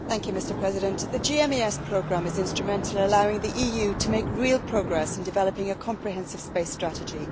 Mr President, the GMES programme is instrumental in allowing the EU to make real progress in developing a comprehensive space strategy.